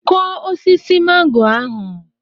Kụọ osisi mango ahụ.